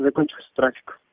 закончился трафик